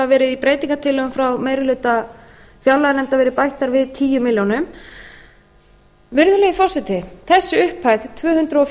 í breytingartillögum frá meiri hluta fjárlaganefndar verið bætt þar við tíu milljónum virðulegi forseti þessi upphæð tvö hundruð